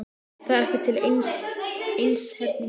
Það er ekki til einseyringur í kotinu.